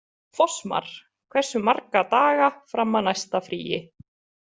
Fossmar, hversu marga daga fram að næsta fríi?